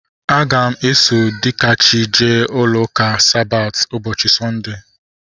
Aga m eso Dikachi jee ụka Sabati ụbọchị Satọdee